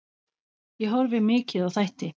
Ég horfi mikið á þætti.